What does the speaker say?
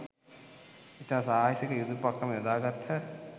ඉතා සාහසික යුද උපක්‍රම යොදාගත්හ